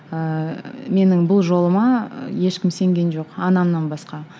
ііі менің бұл жолыма ешкім сенген жоқ анамнан басқа